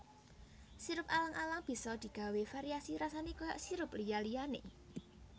Sirup alang alang bisa digawé variasi rasané kaya sirup liya liyané